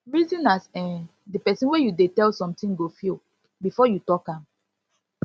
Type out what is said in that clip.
reason as um de pesin wey you dey tell something go feel before you talk am